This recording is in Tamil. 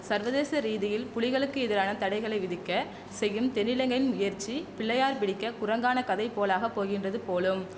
சர்வதேச ரீதியில் புலிகளுக்கு எதிரான தடைகளை விதிக்க செய்யும் தென்னிலங்கையின் முயற்சி பிள்ளையார் பிடிக்க குரங்கான கதை போலாகப் போகின்றது போலும்